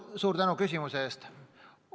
Suur tänu küsimuse eest!